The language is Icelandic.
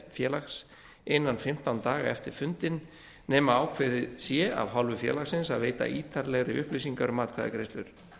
félags innan fimmtán daga eftir fundinn nema ákveðið sé af hálfu félagsins að veita ítarlegri upplýsingar um atkvæðagreiðslur